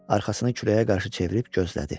Arxasını küləyə qarşı çevirib gözlədi.